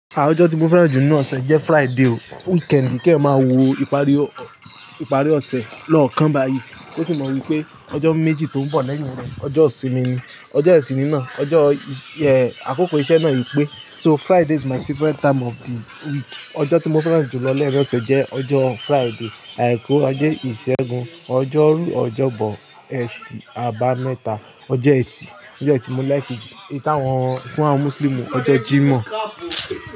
Àwọn ọjọ́ tí mo fẹ́ràn jù nu ọ̀sẹ̀ jẹ́ Friday o. Weekend kì ẹ máa wo ìparí ọ̀sẹ̀ lọ́kàn báyìí. Ó sì mọ wípé ọjọ́ méjì tó ń bọ̀ lẹ́yìn rẹ̀, ọjọ́ ìsinmi ni. Ọjọ́ ìsinmi náà, ọjọ́ àkókò iṣẹ́ náà yí pé. So Friday is my favorite time of the week. Ọjọ́ tí mo fẹ́ràn jù lọ lẹ́yìn ọ̀sẹ̀ jẹ́ ọjọ́ Friday. Àìkú, àjé ìṣẹ́gun, ọjọ́rú, ọjọ́bọ, ẹ̀tì, àbámẹ́ta, ọjọ́ ẹtì. Ọjọ́ ẹtì mo like jù. Èyí tí táwọn fún àwọn Mùsùlùmí ọjọ́ Jímọ̀.